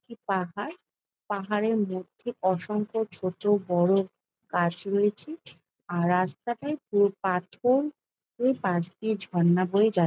একটি পাহাড়। পাহাড়ের মধ্যে অসংখ্য ছোট বড়ো গাছ রয়েছে। আর রাস্তাটায় পুরো পাথর। উ পাশ দিয়ে ঝর্ণা বয়ে যাচ--